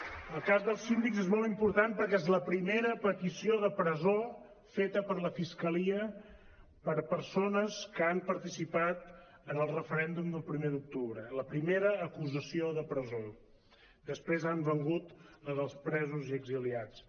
el cas dels síndics és molt important perquè és la primera petició de presó feta per la fiscalia per a persones que han participat en el referèndum del primer d’octubre la primera acusació de presó després han vingut la dels presos i exiliats